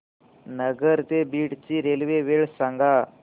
नगर ते बीड ची रेल्वे वेळ सांगा